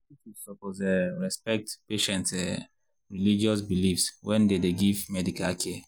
hospitals suppose um respect patients’ um religious beliefs wen dem dey give medical care.